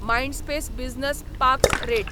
Mindspace business parks rate